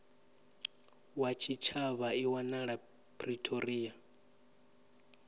wa tshitshavha i wanala pretoria